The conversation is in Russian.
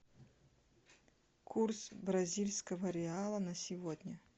курс бразильского реала на сегодня